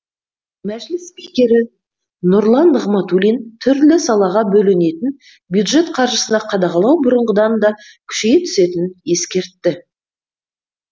мәжіліс спикері нұрлан нығматулин түрлі салаға бөлінетін бюджет қаржысына қадағалау бұрынғыдан да күшейе түсетінін ескертті